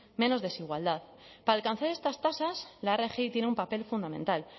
menos desigualdad para alcanzar estas tasas la rgi tiene un papel fundamental